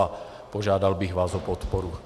A požádal bych vás o podporu.